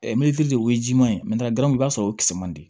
de o ye jiman ye i b'a sɔrɔ o kisɛ man di